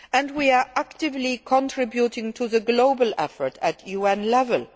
world. We are actively contributing to the global effort at UN